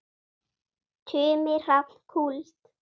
Tumi Hrafn Kúld.